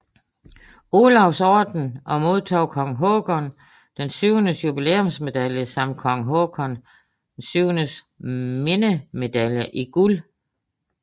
Olavs Orden og modtog Kong Haakon VIIs jubilæumsmedalje samt Kong Haakon VIIs minnemedalje i guld